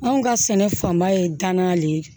Anw ka sɛnɛ fanba ye danaya de ye